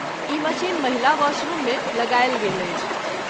ई machine महिला वाशरूममे लगायल गेल अछि।